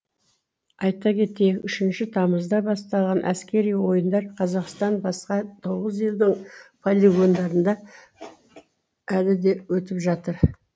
айта кетейік үшінші тамызда басталған әскери ойындар қазақстан басқа тоғыз елдің полигондарында әлі де өтіп жатыр